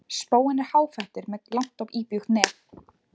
Spóinn er háfættur með langt og íbjúgt nef.